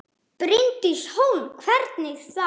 Bryndís Hólm: Hvernig þá?